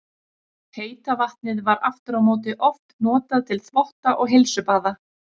Heita vatnið var aftur á móti oft notað til þvotta og heilsubaða.